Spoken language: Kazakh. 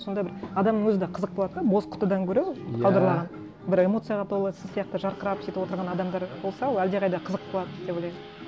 сонда бір адам өзі де қызық болады да бос құтыдан гөрі салдырлаған бір эмоцияға толы сіз сияқты жарқырап сөйтіп отырған адамдар болса ол әлдеқайда қызық болады деп ойлаймын